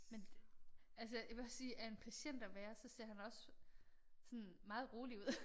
Men det altså jeg vil også sige af en patient at være så ser han også sådan meget rolig ud